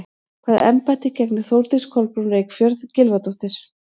Hvaða embætti gegnir Þórdís Kolbrún Reykfjörð Gylfadóttir?